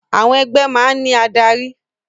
Àwọn ẹgbẹ́ máa ń ní adarí